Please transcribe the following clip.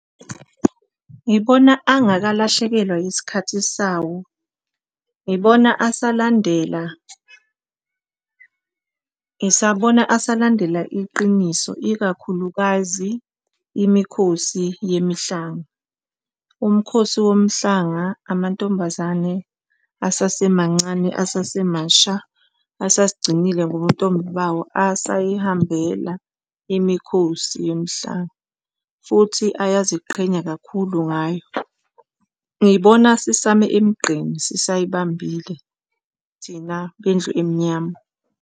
Ngibona angakalahlekelwa isikhathi sawo ngibona asalandela, ngisabona asalandela iqiniso, ikakhulukazi imikhosi yemihlanga. Umkhosi womhlanga, amantombazane asasemancane asasemasha asazigcinile ngobuntombi bawo asayibambela imikhosi yemihlanga. Futhi ayaziqhenya kakhulu ngayo. Ngibona sisame emigqeni sisayibambile thina lwendlu emnyama.